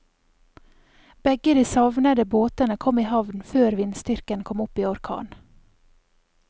Begge de savnede båtene kom i havn før vindstyrken kom opp i orkan.